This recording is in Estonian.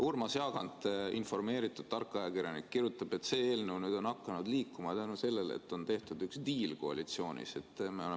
Urmas Jaagant, informeeritud ja tark ajakirjanik, kirjutab, et see eelnõu on nüüd hakanud liikuma tänu sellele, et koalitsioonis tehti üks diil.